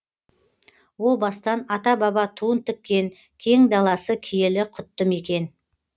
о бастан ата баба туын тіккен кең даласы киелі құтты мекен